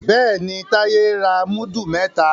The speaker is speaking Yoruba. Béèni Taye ń ra mudu mẹta.